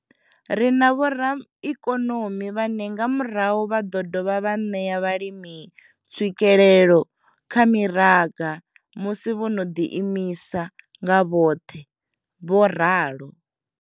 Ri na vhoraikonomi vhane nga murahu vha ḓo dovha vha ṋea vhalimi tswikelelo kha miraga musi vho no ḓiimisa nga vhoṱhe, vho ralo.